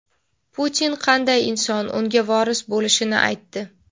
Putin qanday inson unga voris bo‘lishini aytdi.